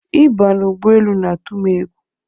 I ba na ụgbọ elu na atu m egwu